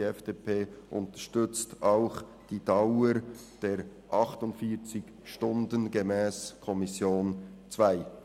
Die FDP unterstützt auch die Dauer der 48 Stunden, gemäss Kommission II.